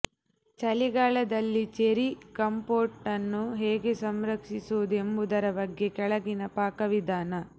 ಚಳಿಗಾಲದಲ್ಲಿ ಚೆರ್ರಿ ಕಂಪೋಟನ್ನು ಹೇಗೆ ಸಂರಕ್ಷಿಸುವುದು ಎಂಬುದರ ಬಗ್ಗೆ ಕೆಳಗಿನ ಪಾಕವಿಧಾನ